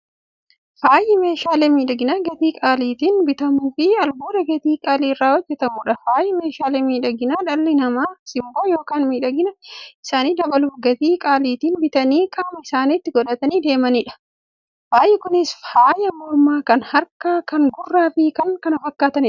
Faayyi meeshaalee miidhaginaa gatii qaalitiin bitamuufi albuuda gatii qaalii irraa hojjatamuudha. Faayyi meeshaalee miidhaginaa, dhalli namaa simboo yookiin miidhagina isaanii dabaluuf, gatii qaalitiin bitanii qaama isaanitti qodhatanii deemaniidha. Faayyi Kunis; faaya mormaa, kan harkaa, kan gurraafi kan kana fakkataniidha.